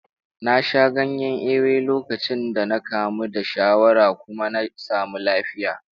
Na sha ganyen ewe lokacin da na kamu da shawara kuma na samu lafiya.